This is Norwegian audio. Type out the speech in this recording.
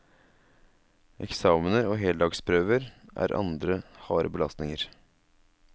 Eksamener og heldagsprøver er andre harde belastninger.